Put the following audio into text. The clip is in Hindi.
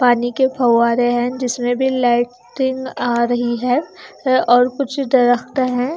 पानी के फव्वारे हैं जिसमे में भी लाइटिंग आ रही है और कुछ है।